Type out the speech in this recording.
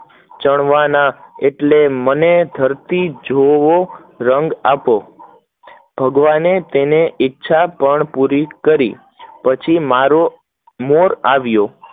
ચણવા એટલે મને ધરતી જોવો રંગ આપો, ભગવાને ઈચ્છા પણ પૂરી કરી પછી મારો મોર આવ્યો